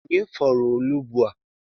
Onye fọrọ onugbu a?